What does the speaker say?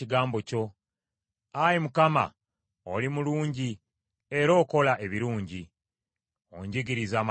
Ayi Mukama , oli mulungi era okola ebirungi; onjigirize amateeka go.